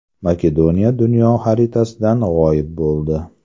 Makedoniya dunyo xaritasidan g‘oyib bo‘ldi.